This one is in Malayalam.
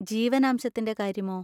ജീവനാംശത്തിൻ്റെ കാര്യമോ?